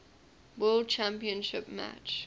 world championship match